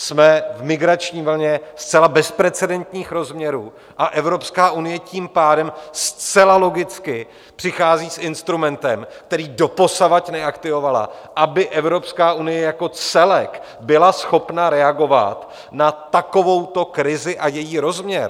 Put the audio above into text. Jsme v migrační vlně zcela bezprecedentních rozměrů, a Evropská unie tím pádem zcela logicky přichází s instrumentem, který doposavad neaktivovala, aby Evropská unie jako celek byla schopna reagovat na takovouto krizi a její rozměr.